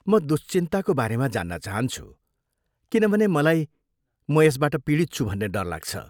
म दुश्चिन्ताको बारेमा जान्न चाहन्छु किनभने मलाई म यसबाट पीडित छु भन्ने डर लाग्छ।